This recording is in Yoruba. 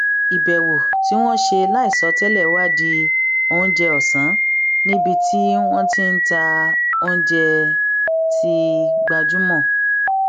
ìbèwò tí wón ṣe láìsọ télè wá di oúnjẹ òsán níbi tí wón ti ń ta oúnjẹ tó gbajúmọ